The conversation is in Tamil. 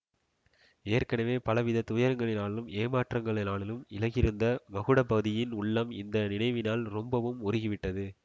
ஏற்கெனவே பலவிதத் துயரங்களினாலும் ஏமாற்றங்களினாலும் இளகியிருந்த மகுடபதியின் உள்ளம் இந்த நினைவினால் ரொம்பவும் உருகிவிட்டது